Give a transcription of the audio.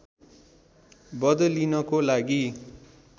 बदलिनको लागि